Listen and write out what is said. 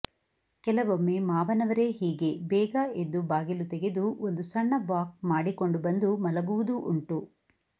ಕೆಲವೊಮ್ಮೆ ಮಾವನವರೇ ಹೀಗೆ ಬೇಗ ಎದ್ದು ಬಾಗಿಲು ತೆಗೆದು ಒಂದು ಸಣ್ಣ ವಾಕ್ ಮಾಡಿಕೊಂಡು ಬಂದು ಮಲಗುವುದೂ ಉಂಟು